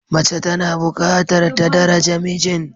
Mace tana bukatar ta daraja mijin.